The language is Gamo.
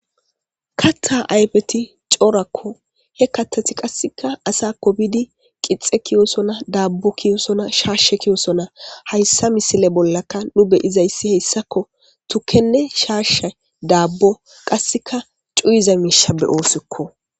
katta ayfeti coorakko he katati qasseka asakko biidi qixe kiyosona daabbo kiyosona shaashe kiyosona hayssa misile bollaka nu beyizayssi heyssakko tukkenne shaashe daabbo qasseka cuyiza miisha beyoosikko